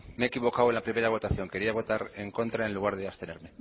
me he equivocado en la primera votación quería votar en contra en lugar de abstenerme